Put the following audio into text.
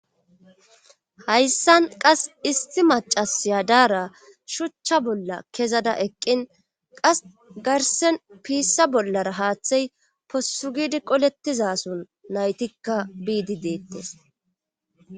hayssan qas isti macasiya daara shuchcha bolla kezada eqqin qas garsen piissa bollara haaththey possugidi qolettiza son naytikka biidi deettes